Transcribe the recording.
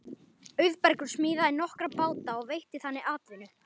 Auðbergur smíðaði nokkra báta og veitti þannig atvinnu.